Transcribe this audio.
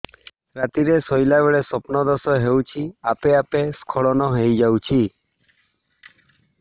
ରାତିରେ ଶୋଇଲା ବେଳେ ସ୍ବପ୍ନ ଦୋଷ ହେଉଛି ଆପେ ଆପେ ସ୍ଖଳନ ହେଇଯାଉଛି